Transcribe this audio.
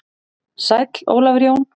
Sæll Ólafur Jón.